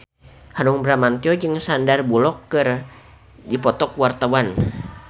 Hanung Bramantyo jeung Sandar Bullock keur dipoto ku wartawan